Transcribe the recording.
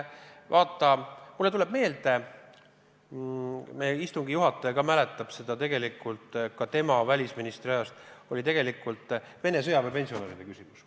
Vaata, mulle tuleb meelde – istungi juhataja ka mäletab seda ajast, kui tema välisminister oli – Vene sõjaväepensionäride küsimus.